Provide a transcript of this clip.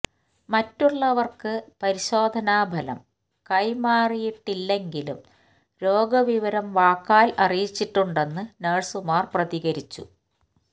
മറ്റുള്ളവർക്ക് പരിശോധനാ ഫലം കൈമാറിയിട്ടില്ലെങ്കിലും രോഗ വിവരം വാക്കാൽ അറിയിച്ചിട്ടുണ്ടെന്ന് നഴ്സുമാർ പ്രതികരിച്ചു